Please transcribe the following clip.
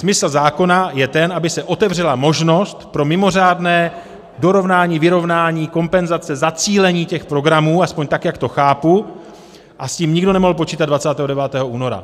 Smysl zákona je ten, aby se otevřela možnost pro mimořádné dorovnání, vyrovnání kompenzace, zacílení těch programů, aspoň tak, jak to chápu, a s tím nikdo nemohl počítat 29. února.